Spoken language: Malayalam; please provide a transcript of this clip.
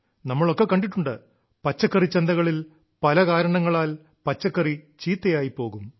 നമ്മളൊക്കെ കണ്ടിട്ടുണ്ട് പച്ചക്കറിച്ചന്തകളിൽ പല കാരണങ്ങളാൽ പച്ചക്കറി ചീത്തയായി പോകും